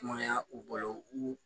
Kumaya u bolo u